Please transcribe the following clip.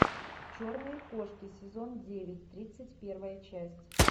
черные кошки сезон девять тридцать первая часть